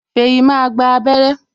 Feyi máa gba abere